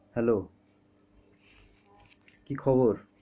Hello কী খবর?